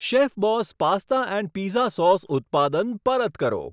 Chef Boss pasta and pizza sauce ઉત્પાદન પરત કરો.